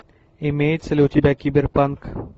имеется ли у тебя кибер панк